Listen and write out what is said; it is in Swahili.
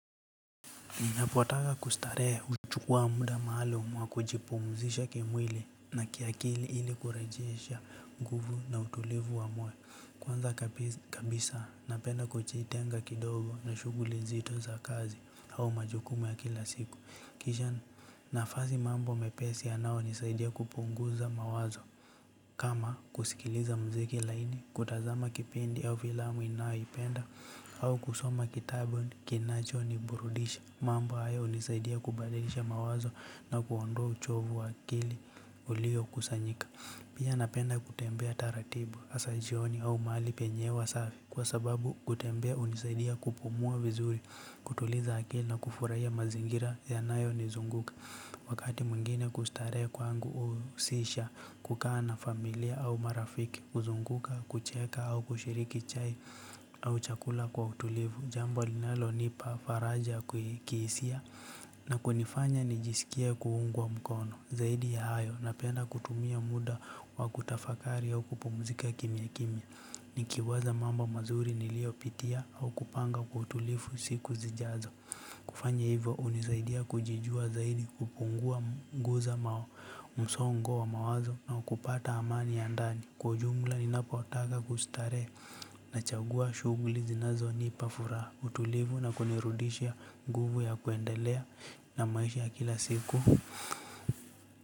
Napotaka kustarehe, huchukua muda maalumu wa kujipumzisha kimwili na kiakili ili kurejesha nguvu na utulivu wa mwili. Kwanza kabisa, napenda kujitenga kidogo na shughuli nzito za kazi au majukumu ya kila siku. Kisha napata nafasi mambo mepesi yanayonisaidia kupunguza mawazo. Kama kusikiliza mziki laini kutazama kipindi au fillamu ninayoipenda au kusoma kitabu kinachoniburudisha. Mambo haya hunisaidia kubadilisha mawazo na kuondoa uchovu wa akili. Uliokusanyika. Pia napenda kutembea taratibu, hasa jioni au mahali penye hewa usafi, kwa sababu kutembea hunisaidia kupumua vizuri, kutuliza akili na kufurahia mazingira yanayonizunguka. Wakati mwingine kustarehe kwangu huhusisha kukaa na familia au marafiki, kuzunguka, kucheka au kushiriki chai au chakula kwa utulivu. Jambo linalonipa faraja ya kihisia. Na kunifanya nijisikie kuungwa mkono. Zaidi ya hayo, napenda kutumia muda wa kutafakari au kupumzika kimya kimya. Nikiwaza mambo mazuri niliyopitia au kupanga kwa utulivu siku zijazo. Kufanya hivyo hunisaidia kujijua zaidi, kupunguza msongo wa mawazo na kupata amani ya ndani. Kwa ujumla, ninapotaka kustarehe nachagua shughuli zinazonipa furaha, utulivu na kunirudishia nguvu ya kuendelea na maisha kila siku.